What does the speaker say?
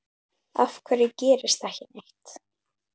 Af hverju gerist ekki neitt?